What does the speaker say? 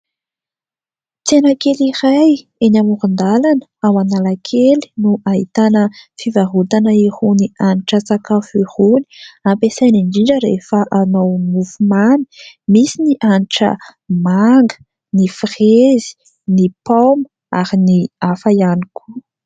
Tsena kely iray eny amoron-dalana ao Analakely no ahitana fivarotana irony hanitra sakafo irony. Ampiasaina indrindra rehefa hanao mofomamy misy ny hanitra manga, ny firezy, ny paoma ary ny hafa ihany koa.